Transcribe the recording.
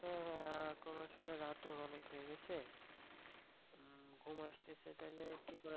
হ্যাঁ হ্যাঁ এখুন আসলে রাতও অনেক হয়ে গেছে উম ঘুম আসতেছে তাইলে কি করা যায়?